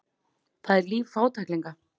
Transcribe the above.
Það er líf fátæklinga.